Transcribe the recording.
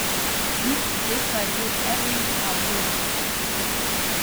Lastnik posestva je bil Ervin Avgust Petriček.